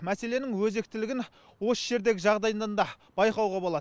мәселенің өзектілігін осы жердегі жағдайдан да байқауға болады